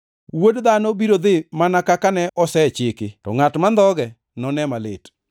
Wuod Dhano biro dhi mana kaka ne osechiki, to ngʼat mandhoge none malit.”